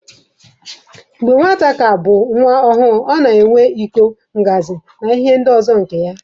Mgbe nwata ka bụ nwa ọhụrụ, ọ na-enwe iko, ngazị wdg nke ya.